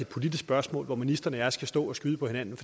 politisk spørgsmål hvor ministeren og jeg skal stå og skyde på hinanden